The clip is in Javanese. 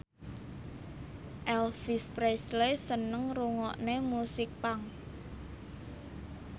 Elvis Presley seneng ngrungokne musik punk